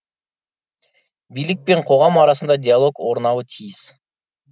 билік пен қоғам арасында диалог орнауы тиіс